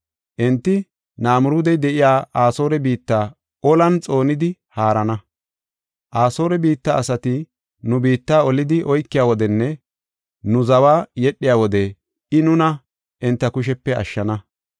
Enti Namiruudey de7iya Asoore biitta olan xoonidi haarana. Asoore biitta asati nu biitta olidi oykiya wodenne nu zawa yedhiya wode I nuna enta kushepe ashshana.